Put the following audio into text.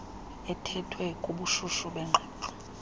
ethethwe kubushushu bengxoxo